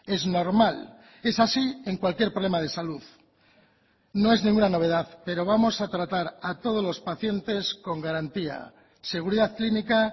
es normal es así en cualquier problema de salud no es ninguna novedad pero vamos a tratar a todos los pacientes con garantía seguridad clínica